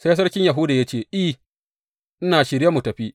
Sai sarkin Yahuda ya ce, I, ina shirye mu tafi.